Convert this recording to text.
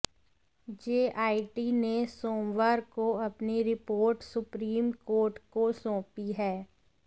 JIT ने सोमवार को अपनी रिपोर्ट सुप्रीम कोर्ट को सौंपी है